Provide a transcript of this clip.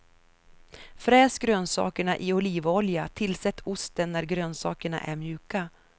Fräs grönsakerna i olivolja, tillsätt osten när grönsakerna är mjuka.